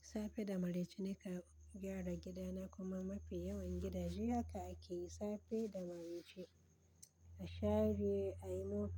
safe da maraice naka gyara gidana kuma mafi yawan gidaje haka ake yi safe da maraice, a share, a yi mopping.